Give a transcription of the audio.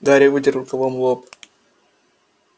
гарри вытер рукавом лоб